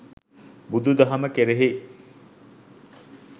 බුදු දහම කෙරෙහි